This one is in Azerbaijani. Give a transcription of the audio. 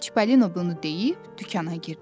Çipollino bunu deyib dükana girdi.